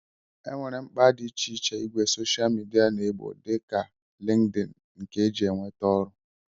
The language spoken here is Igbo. E nwere mkpa dị iche iche ìgwè soshal midia na-egbo, dịka LinkedIn nke e ji enweta ọrụ